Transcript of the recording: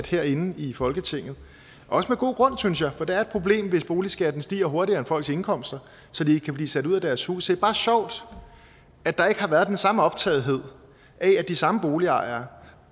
herinde i folketinget også med god grund synes jeg for det er et problem hvis boligskatten stiger hurtigere end folks indkomster så de kan blive sat ud af deres hus er bare sjovt at der ikke har været den samme optagethed af at de samme boligejere